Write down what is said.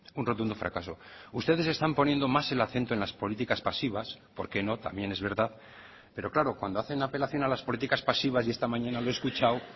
un rotundo fracaso ustedes están poniendo más el acento en las políticas pasivas por qué no también es verdad pero claro cuando hacen apelación a las políticas pasivas y esta mañana lo he escuchado